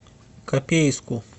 копейску